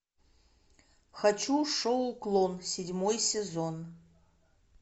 хочу шоу клон седьмой сезон